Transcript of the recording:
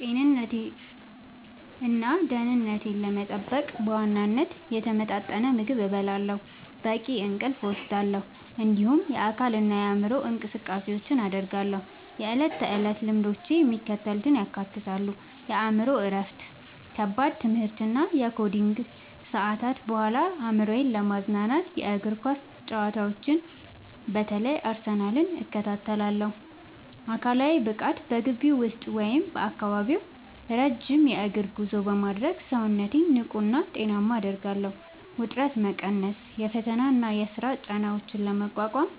ጤንነቴንና ደህንነቴን ለመጠበቅ በዋናነት የተመጣጠነ ምግብ እመገባለሁ፣ በቂ እንቅልፍ እወስዳለሁ፣ እንዲሁም የአካልና የአእምሮ እንቅስቃሴዎችን አደርጋለሁ። የዕለት ተዕለት ልምዶቼ የሚከተሉትን ያካትታሉ፦ የአእምሮ እረፍት፦ ከከባድ የትምህርትና የኮዲንግ ሰዓታት በኋላ አእምሮዬን ለማዝናናት የእግር ኳስ ጨዋታዎችን (በተለይ የአርሰናልን) እከታተላለሁ። አካላዊ ብቃት፦ በግቢ ውስጥ ወይም በአካባቢው ረጅም የእግር ጉዞ በማድረግ ሰውነቴን ንቁና ጤናማ አደርጋለሁ። ውጥረት መቀነስ፦ የፈተናና የሥራ ጫናዎችን ለመቋቋም